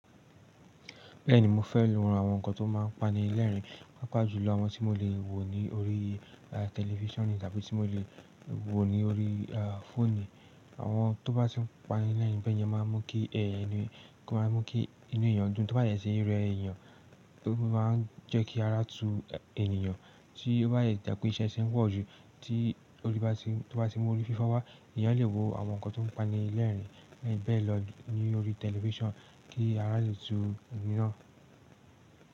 Bẹ́ẹ̀ni mo fẹ́ran àwọn nǹkan tó máa ń pani lẹ́rìn, pàápàá jùlọ àwọn tí mo lè wo ní orí television tàbí tí mo lè wo ní orí fóònù. Àwọn tó bá ti ń pani lẹ́rìn bẹ́ẹ̀ yẹn máa ń mú kí ẹh, o máa ń mú kí inú èèyàn dùn. Tó bá dẹ sí rẹ èèyàn, ó máa ń jẹ́ kí ara tu èèyàn. Tí ó bá dẹ tàbí iṣẹ́ ti ń pọ̀jù, tí ó bá ti mú orifífọ́ wá, èèyàn lè wo àwọn nǹkan tó ń pani lẹ́rìn bẹ́ẹ̀ lọ ní orí television kí ara lè tu ẹni náà.